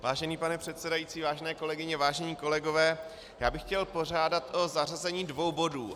Vážený pane předsedající, vážené kolegyně, vážení kolegové, já bych chtěl požádat o zařazení dvou bodů.